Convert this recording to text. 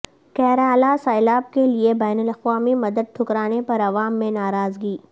کیرالہ سیلاب کے لئے بین الاقوامی مدد ٹھکرانے پر عوام میں ناراضگی